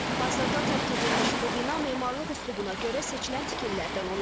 Hazırda tərk edilmiş bu bina memarlıq üslubuna görə seçilən tikillərdən olub.